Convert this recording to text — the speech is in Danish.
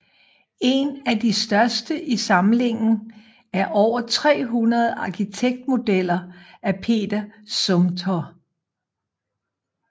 En af de største i samlingen er over 300 arkitektmodeller af Peter Zumthor